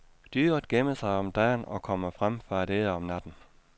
Dyret gemmer sig om dagen og kommer frem for at æde om natten.